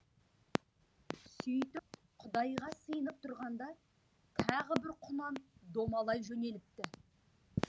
сөйтіп құдайға сыйынып тұрғанда тағы бір құнан домалай жөнеліпті